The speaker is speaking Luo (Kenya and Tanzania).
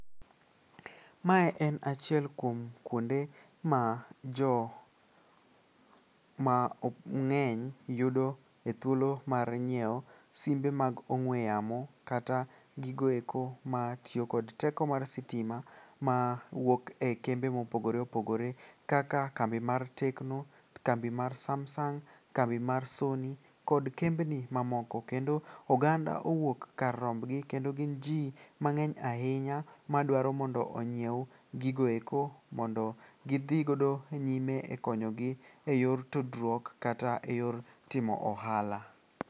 Mae en achiel kuom kuonde ma jomang'eny yudo e thuolo mar nyieo simbe mag ong'we yamo kata gigoeko matiyo kod teko mar sitima mawuok e kembe mopogore opogore kaka kambi mar tecno, kambi mar samsung, kambi mar sony kod kembni mamoko. Kendo oganda owuok kar rombgi kendo gin ji mang'eny ahinya madwaro mondo onyiew gigoeko mondo gidhigodo nyime e konyogi e yor tudruok kata e yor timo ohala.